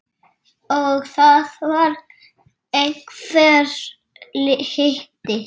Og það var einhver hiti.